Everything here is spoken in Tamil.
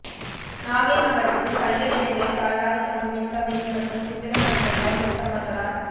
நாகை மாவட்டத்தில் பல்வேறு இடங்களில் தாழ்வாக தொங்கும் மின்கம்பிகள் மற்றும் சிதிலமடைந்துள்ள மின்கம்பங்களால்